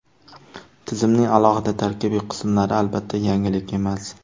Tizimning alohida tarkibiy qismlari, albatta, yangilik emas.